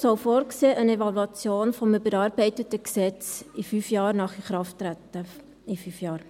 Dieser Artikel soll eine Evaluation des überarbeiteten Gesetzes fünf Jahre nach Inkrafttreten vorsehen.